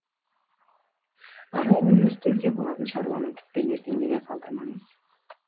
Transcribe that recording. арғыкүні істеуге болатын шаруаны тіпті ертеңге де қалдырмаңыз